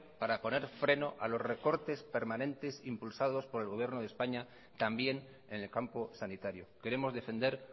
para poner freno a los recortes permanentes impulsados por el gobierno de españa también en el campo sanitario queremos defender